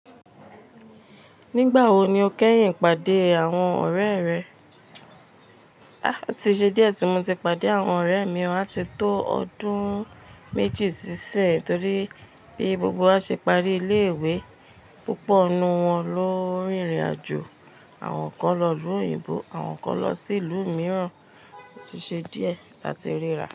Nígbà wo ni o kẹ́yìn pàdé àwọn ọ̀rẹ́ rẹ? Há! Ti ṣe díẹ̀ tí mo ti pàdé àwọn ọ̀rẹ́ mi, a ti tó ọdún méjì ṣíṣẹ torí bí gbogbo wa ṣe parí ilé ìwé, púpọ̀ nínú wọn ló rìnrìn àjò, àwọn kan lọ ìlú òyìnbó, àwọn kan lọ sí ìlú mìíràn. Ti ṣe díẹ̀ táti ríra.